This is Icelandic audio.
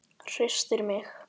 Hristir mig.